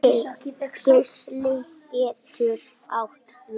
Geisli getur átt við